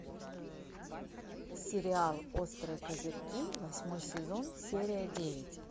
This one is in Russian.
сериал острые козырьки восьмой сезон серия девять